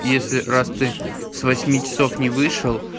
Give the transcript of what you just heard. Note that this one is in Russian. если раз ты с восьми часов не вышел